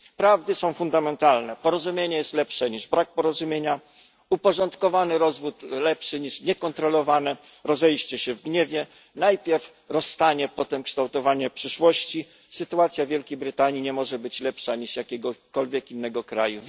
Prawdy są fundamentalne porozumienie jest lepsze niż brak porozumienia, uporządkowany rozwód lepszy niż niekontrolowane rozejście się w gniewie, najpierw rozstanie, potem kształtowanie przyszłości, sytuacja w Wielkiej Brytanii nie może być lepsza niż jakiegokolwiek innego kraju.